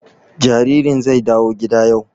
Jaririn zai dawo gida yau